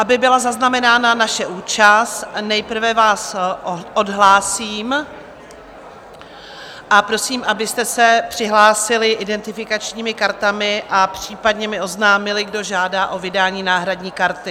Aby byla zaznamenána naše účast, nejprve vás odhlásím a prosím, abyste se přihlásili identifikačními kartami a případně mi oznámili, kdo žádá o vydání náhradní karty.